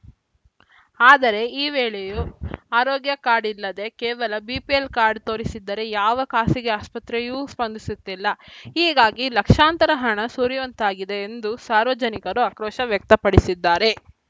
ಆದರೆ ಈ ವೇಳೆಯೂ ಆರೋಗ್ಯ ಕಾರ್ಡ್‌ ಇಲ್ಲದೆ ಕೇವಲ ಬಿಪಿಎಲ್‌ ಕಾರ್ಡ್‌ ತೋರಿಸಿದರೆ ಯಾವ ಖಾಸಗಿ ಆಸ್ಪತ್ರೆಯೂ ಸ್ಪಂದಿಸುತ್ತಿಲ್ಲ ಹೀಗಾಗಿ ಲಕ್ಷಾಂತರ ಹಣ ಸುರಿಯುವಂತಾಗಿದೆ ಎಂದು ಸಾರ್ವಜನಿಕರು ಆಕ್ರೋಶ ವ್ಯಕ್ತಪಡಿಸಿದ್ದಾರೆ